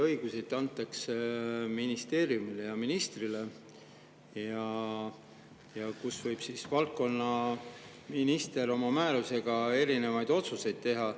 Õiguseid antakse ministeeriumile ja ministrile ning valdkonnaminister võib siis oma määrusega erinevaid otsuseid teha.